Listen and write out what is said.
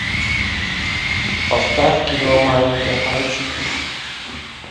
поставь кино маленькие пальчики